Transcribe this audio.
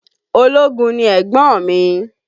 Ológun ni ẹ̀gbọ́n mi